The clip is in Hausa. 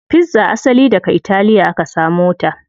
Pizza asali daga italiya aka samo ta.